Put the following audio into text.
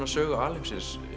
sögu alheimsins